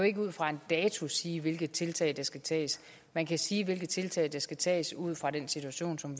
ikke ud fra en dato kan sige hvilke tiltag der skal tages man kan sige hvilke tiltag der skal tages ud fra den situation som